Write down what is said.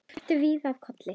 Þeir fréttu víða af Kolli.